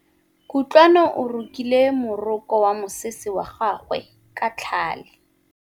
Kutlwanô o rokile morokô wa mosese wa gagwe ka tlhale.